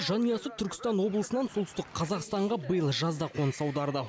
жанұясы түркістан облысынан солтүстік қазақстанға биыл жазда қоныс аударды